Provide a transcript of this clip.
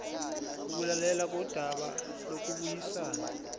ukulalelwa kodaba lokubuyisana